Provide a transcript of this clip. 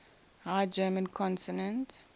high german consonant